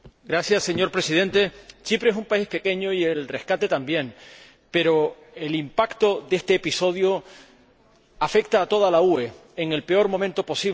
Señor Presidente, Chipre es un país pequeño y el rescate también, pero el impacto de este episodio afecta a toda la UE en el peor momento posible.